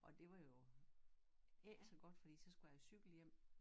Og det var jo ikke så godt fordi så skulle jeg cykle hjem